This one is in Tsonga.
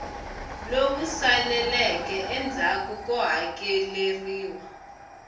lowu saleleke endzhaku ko hakeleriwa